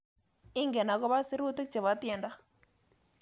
Ingen agoba sirutik chebo tyendo